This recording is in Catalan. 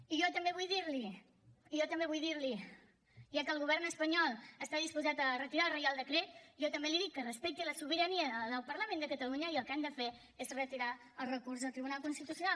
i jo també vull dir li ja que el govern espanyol està disposat a retirar el reial decret jo també li dic que respecti la sobirania del parlament de catalunya i el que han de fer és retirar el recurs al tribunal constitucional